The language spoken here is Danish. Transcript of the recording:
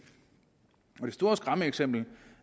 det store skræmmeeksempel